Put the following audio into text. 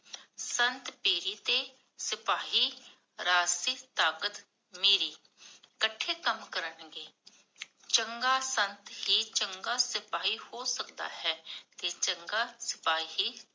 ਸੰਤ ਪੀਰੀ ਤੇ ਸਿਪਾਹੀ ਰਾਜਸੀ ਤਾਕਤ ਮੀਰੀ ਇਕੱਠੇ ਕੰਮ ਕਰਨ ਗੇ ਚੰਗਾ ਸੰਤ ਹੀ ਚੰਗਾ ਸਿਪਾਹੀ ਹੋ ਸਕਦਾ ਹੈ ਕਿ ਤੇ ਚੰਗਾ ਸਿਪਾਹੀ